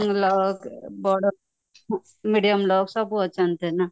ଲୋକ ବଡ medium ଲୋକ ସବୁ ଅଛନ୍ତି ନ